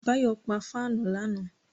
Báyọ̀ pa fáànù lánàá